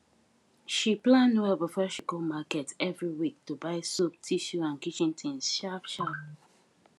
she plan well before she go market every week to buy soap tissue and kitchen things sharp sharp